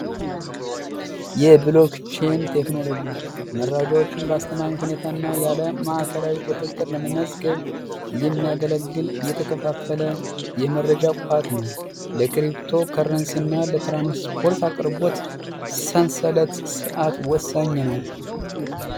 የብሎኬን ቴክኖሎጂ መራጃዎችን አስተማሪ ሁኔታ ማእከላዊ ቁጥጥር የሚያገለግል የተከፋፈለ የመረጃ ቋት ነው ለትራንስፖርት አቅርቦት ሰንሰለት ርዓት ወሳኝ ነው።